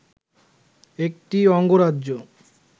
একটি অঙ্গরাজ্য